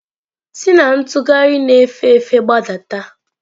Si na ntugharị na-efe efe gbadata!